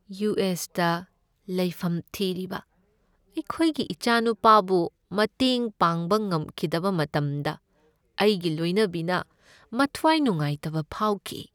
U. S. ꯇ ꯂꯩꯐꯝ ꯊꯤꯔꯤꯕ ꯑꯩꯈꯣꯏꯒꯤ ꯏꯆꯥꯅꯨꯄꯥꯕꯨ ꯃꯇꯦꯡ ꯄꯥꯡꯕ ꯉꯝꯈꯤꯗꯕ ꯃꯇꯝꯗ ꯑꯩꯒꯤ ꯂꯣꯏꯅꯕꯤꯅ ꯃꯊꯋꯥꯏ ꯅꯨꯉꯥꯏꯇꯕ ꯐꯥꯎꯈꯤ꯫